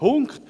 Punkt